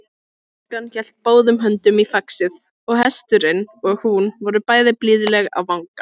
Stúlkan hélt báðum höndum í faxið og hesturinn og hún voru bæði blíðleg á vangann.